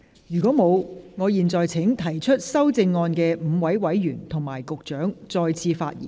如果沒有，我現在請提出修正案的5位委員及局長再次發言。